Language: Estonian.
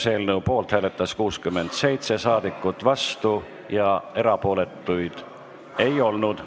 Hääletustulemused Poolt hääletas 67 saadikut, vastuolijaid ega erapooletuid ei olnud.